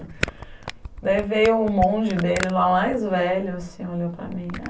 Daí veio o monge dele lá, mais velho, assim, olhou para mim.